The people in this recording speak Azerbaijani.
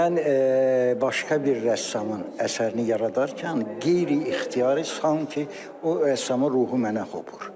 Mən başqa bir rəssamın əsərini yaradarkən qeyri-ixtiyari sanki o rəssamın ruhu mənə hopur.